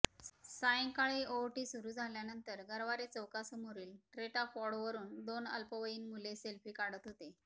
सायंकाळी आहोटी सुरू झाल्यानंतर गरवारे चौकासमोरील टेट्रापॉडवरून दोन अल्पवयीन मुले सेल्फी काढत होते